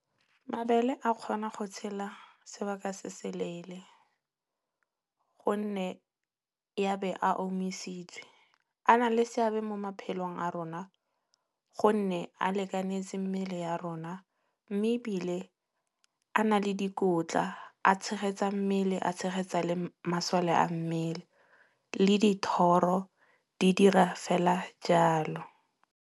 Mabele a kgona go tshela sebaka se se leele gonne ya be a omisitswe. A na le seabe mo maphelong a rona gonne a lekanetse mmele ya rona. Mme ebile a na le dikotla, a tshegetsa mmele, a tshegetsa le masole a mmele. Le dithoro di dira fela jalo.